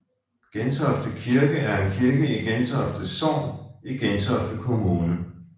Gentofte Kirke er en kirke i Gentofte Sogn i Gentofte Kommune